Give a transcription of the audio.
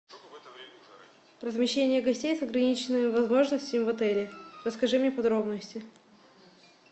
размещение гостей с ограниченными возможностями в отеле расскажи мне подробности